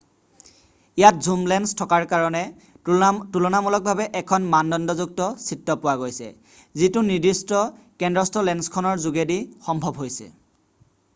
ইয়াত zoom lens থকাৰ কাৰণে তুলনামূলভাৱে এখন মানদণ্ডযুক্ত চিত্ৰ পোৱা গৈছে যিটো নিৰ্দিষ্ট কন্দ্ৰস্থ লেন্সখনৰ যোগেদি সম্ভৱ হৈছে